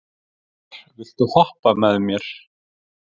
Eymar, viltu hoppa með mér?